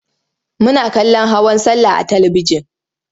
Muna kallon hawan sallah a talibijin.